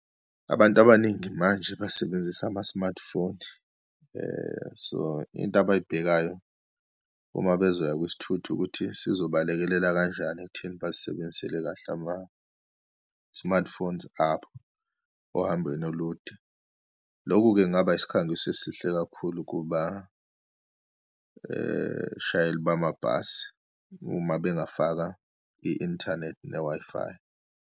Abantu abaningi manje basebenzise ama-smartphone. So, into abayibhekayo uma bezoya kwisithuthi ukuthi sizobalekelela kanjani ekutheni bazisebenzisele kahle ama-smartphones abo ohambweni olude. Lokhu-ke kungaba isikhangiso esihle kakhulu kuba shayeli bamabhasi uma bengafaka i-inthanethi ne-Wi-Fi.